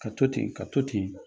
Ka to ten ka to ten